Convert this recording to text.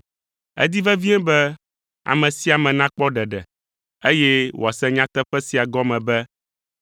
Edi vevie be ame sia ame nakpɔ ɖeɖe, eye wòase nyateƒe sia gɔme be: